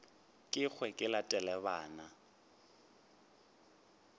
ke hwe ke latele bana